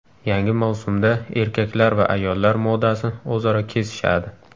Yangi mavsumda erkaklar va ayollar modasi o‘zaro kesishadi.